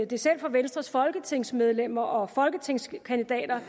det selv for venstres folketingsmedlemmer og folketingskandidater